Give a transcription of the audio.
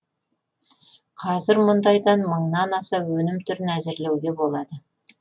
қазір мұндайдан мыңнан аса өнім түрін әзірлеуге болады